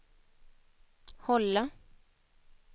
hålla